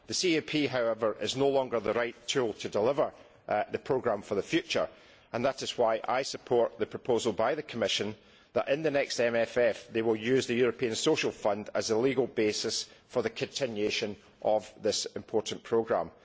The CAP, however, is no longer the right tool to deliver the programme for the future, and that is why I support the proposal by the Commission that, in the next MFF, they will use the European Social Fund as a legal basis for the continuation of this important programme.